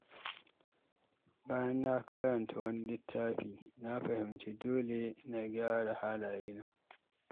Bayan na karanta wani littafi, na fahimci cewa dole na gyara halayena.